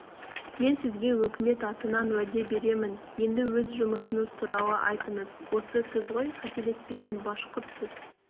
мен сізге өкімет атынан уәде беремін енді өз жұмысыңыз туралы айтыңыз осы сіз ғой қателеспесем башқұртсыз